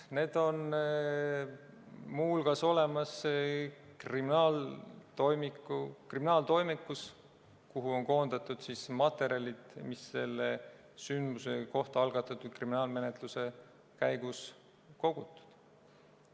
Need on muu hulgas olemas kriminaaltoimikus, kuhu on koondatud materjalid, mis selle sündmuse kohta algatatud kriminaalmenetluse käigus on kogutud.